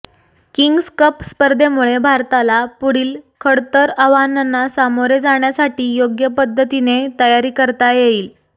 kings Cup स्पर्धेमुळे भारताला पुढील खडतर आव्हानांना सामोरे जाण्यासाठी योग्य पद्धतीने तयारी करता येईल